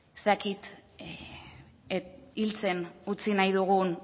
ez dakit hiltzen utzi nahi dugun